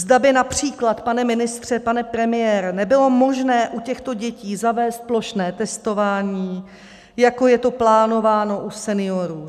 Zda by například, pane ministře, pane premiére, nebylo možné u těchto dětí zavést plošné testování, jako je to plánováno u seniorů.